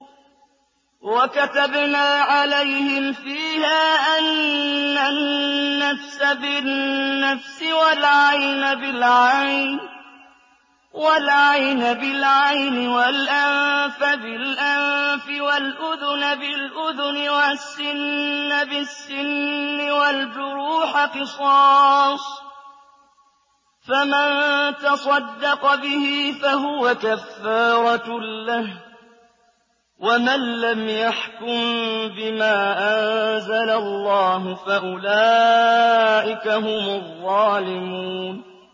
وَكَتَبْنَا عَلَيْهِمْ فِيهَا أَنَّ النَّفْسَ بِالنَّفْسِ وَالْعَيْنَ بِالْعَيْنِ وَالْأَنفَ بِالْأَنفِ وَالْأُذُنَ بِالْأُذُنِ وَالسِّنَّ بِالسِّنِّ وَالْجُرُوحَ قِصَاصٌ ۚ فَمَن تَصَدَّقَ بِهِ فَهُوَ كَفَّارَةٌ لَّهُ ۚ وَمَن لَّمْ يَحْكُم بِمَا أَنزَلَ اللَّهُ فَأُولَٰئِكَ هُمُ الظَّالِمُونَ